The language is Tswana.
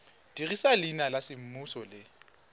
dirisa leina la semmuso le